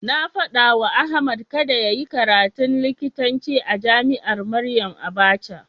Na faɗawa Ahmad kada yayi karatun likitanci a jami'ar Maryam Abacha.